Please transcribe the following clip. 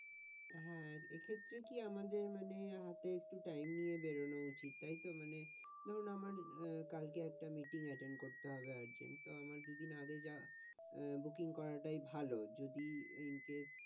হ্যাঁ এক্ষেত্রে কি আমাদের মানে হাতে একটু টাইম নিয়ে বেরোনো উচিত, তাইতো মানে ধরুন আমার কালকে একটা meeting attentd করতে হবে argent তো আমার দুদিন আগে যাওয়া আহ booking করাটাই ভালো যদি incase